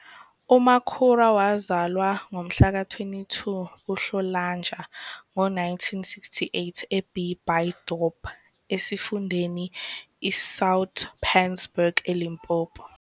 UMakhura wazalwa ngomhlaka 22 kuNhlolanja ngo-1968 eB Buydorp esifundeni iSoutpansberg eLimpopo.